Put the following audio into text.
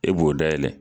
E b'o dayɛlɛ